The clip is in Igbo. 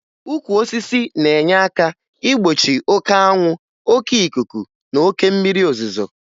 Ukwu osisi na-enye aka igbochi oke anwụ, oke ikuku na oke mmiri ozuzo